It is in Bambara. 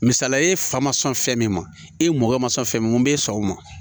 Misaliya e fa ma sɔn fɛn min ma e mɔkɛ ma sɔn fɛn min ma mun b'e sɔn o ma